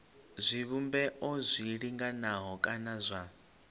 zwivhumbeo zwi linganaho kana zwa